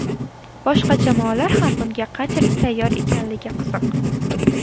Boshqa jamoalar ham bunga qanchalik tayyor ekanligi qiziq.